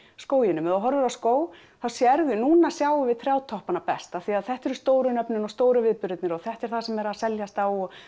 skóginum ef þú horfir á skóg þá sérðu núna sjáum við best af því að þetta eru stóru nöfnin og stóru viðburðirnir og þetta er það sem er að seljast á og